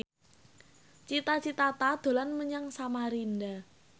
Cita Citata dolan menyang Samarinda